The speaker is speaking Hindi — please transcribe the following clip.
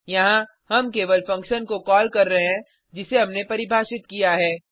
यहाँ हम केवल फंक्शन को कॉल कर रहे हैं जिसे हमने परिभाषित किया है